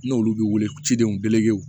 N'olu bɛ wele cidenw bɛ